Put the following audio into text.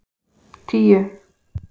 tíu